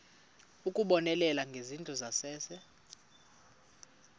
ukubonelela ngezindlu zangasese